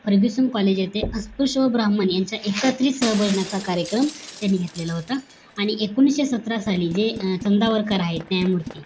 Fergusson college येथे अस्पृश्य व ब्रह्मन् यांचं एकत्रित स्टाल बघण्याचा कार्यक्रम त्यांनी घेतलेला होता आणि एकोणीशे सतरा साली जे संधावरकर आहेत न्यायमूर्ती